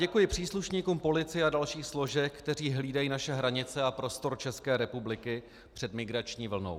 Děkuji příslušníkům policie a dalších složek, kteří hlídají naše hranice a prostor České republiky před migrační vlnou.